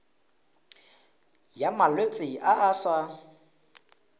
ya malwetse a a sa